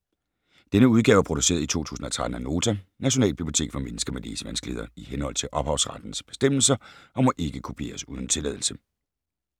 Denne udgave er produceret i 2013 af Nota - Nationalbibliotek for mennesker med læsevanskeligheder, i henhold til ophavsrettes bestemmelser, og må ikke kopieres uden tilladelse.